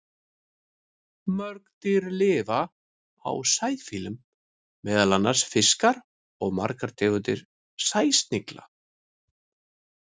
Mörg dýr lifa á sæfíflum, meðal annars fiskar og margar tegundir sæsnigla.